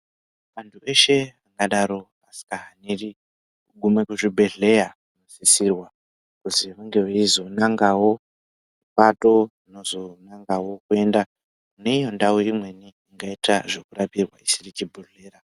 Antu eshe adero sezvazviri kuguma kuchibhehlera kusisirwa kuzwi vange veizonangawo pato rinozonangawo kuenda neiyo ndau imweni inoita zvokurapirwa isiri chibhedhlera.